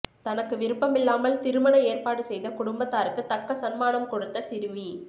தனக்கு விருப்பமில்லாமல் திருமண ஏற்பாடு செய்த குடும்பத்தாருக்கு தக்க சன்மானம் கொடுத்த சிறுமி